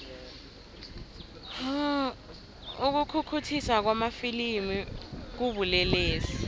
ukukhukhuthiswa kwamafilimu kubulelesi